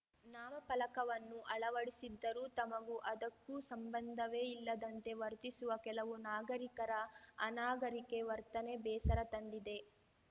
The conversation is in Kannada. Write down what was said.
ನಾಮಫಲಕವನ್ನು ಅಳವಡಿಸಿದ್ದರೂ ತಮಗೂ ಅದಕ್ಕೂ ಸಂಬಂಧವೇ ಇಲ್ಲದಂತೆ ವರ್ತಿಸುವ ಕೆಲವು ನಾಗರಿಕರ ಅನಾಗರಿಕೆ ವರ್ತನೆ ಬೇಸರ ತಂದಿದೆ